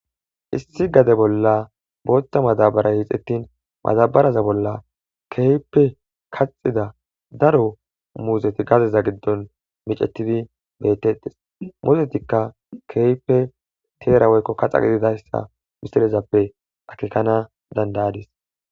issi gade bolla booththa madabaray hixettin madabaraza bolla keype kaxida daro muuzeti gadeza giddon micetidi bettettes muuzetikka keype teera woykko kaxa gididayssa misirezappe akekana dandayadis